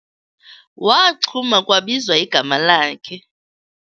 Waxhuma kwabizwa igama lakhe.